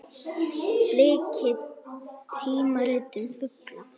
Bliki: tímarit um fugla.